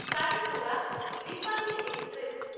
Kacheguda Repalle express